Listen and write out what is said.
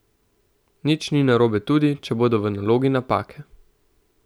Nič ni narobe tudi, če bodo v nalogi napake.